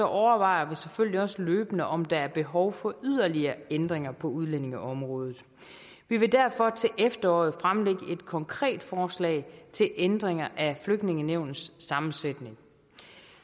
overvejer vi selvfølgelig også løbende om der er behov for yderligere ændringer på udlændingeområdet vi vil derfor til efteråret fremlægge et konkret forslag til ændringer af flygtningenævnets sammensætning